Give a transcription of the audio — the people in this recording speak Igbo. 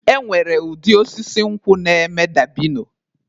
E nwere ụdị osisi nkwụ na-eme dabino